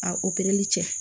A cɛ